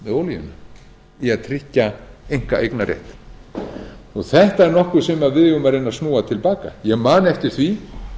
olíuna í að tryggja einkaeignarréttinn þetta er nokkuð sem við eigum að reyna að snúa til baka ég man eftir því